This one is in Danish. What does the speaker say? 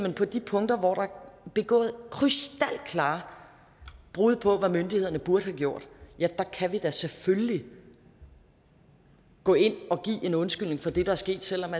at på de punkter hvor der er begået krystalklare brud på hvad myndighederne burde have gjort ja der kan vi da selvfølgelig gå ind og give en undskyldning for det der er sket selv om